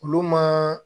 Olu ma